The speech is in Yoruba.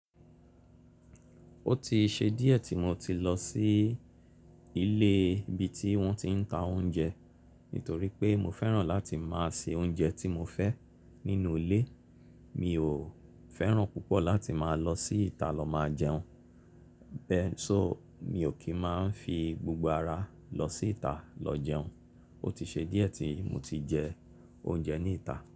Ó ti ṣe díẹ̀ tí mo ti lọ sí ilé ibi tí wọ́n ti ń ta oúnjẹ nítorí pé mo fẹ́ràn láti máa se oúnjẹ tí mo fẹ́ nínú ilé. Mi ò fẹ́ràn púpọ̀ láti máa lọ sí ìta lọ máa jẹun. Bẹ́ẹ̀ sì mi ò kí máa ń fi gbogbo ara lọ sí ìta lọ jẹun. Ó ti ṣe díẹ̀ tí mo ti jẹ oúnjẹ ní ìta.